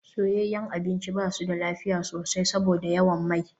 Soyayyen abinci ba su da lafiya sosai saboda yawan mai.